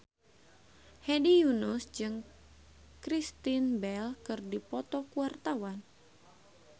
Hedi Yunus jeung Kristen Bell keur dipoto ku wartawan